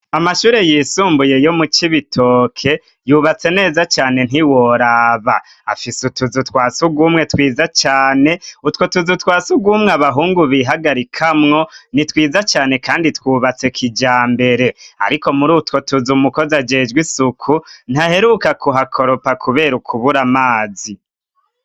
Amashure yisumbuye yo mu Cibitoke yubatse neza cane ntiworaba; afise utuzu twa surwumwe twiza cane. Utwo tuzu twa surwumwe abahungu bihagarikamwo ni twiza cane kandi twubatse kijambere. Ariko muri utwo tuzu umukozi ajejwe isuku ntaheruka kuhakoropa kubera ukubura amazi.